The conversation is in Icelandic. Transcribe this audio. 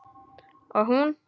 Og hún?